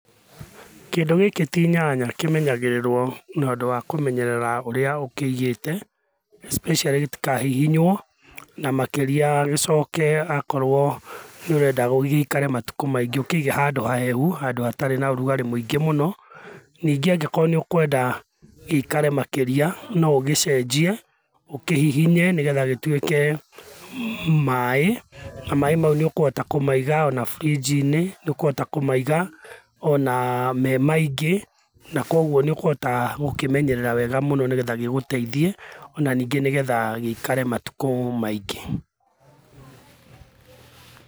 Kĩndũ gĩkĩ ti nyanya kĩmenyagĩrĩrwo na ũndũ wa kũmenyerera ũrĩa ũkĩigĩte especially gĩtikahihinywo, na makĩria gĩcoke akorwo nĩ ũrenda gĩikare matukũ maingĩ ũkĩige handũ hahehu, handũ hatarĩ na ũrugarĩ mũingĩ mũno ningĩ angĩkorwo nĩ ũkwenda gĩikare makĩria no ũgĩcenjie ũkĩhihinye nĩgetha gĩtuĩke maĩ na maĩ mau nĩ ũkũhota kũmaiga ona fridge inĩ nĩ ũkũhota kũmaiga ona me maingĩ na kwoguo nĩ ũkũhota gũkĩmenyerera wega mũno nĩgetha gĩgũteithie ona ningĩ nĩgetha gĩikare matukũ maingĩ..